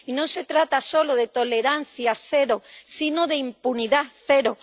Y no se trata solo de tolerancia cero, sino de impunidad cero.